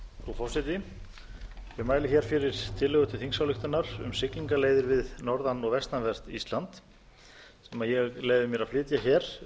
ég mæli hér fyrir tillögu til þingsályktunar um siglingaleiðir við norðan og vestanvert ísland sem ég leyfi mér að flytja hér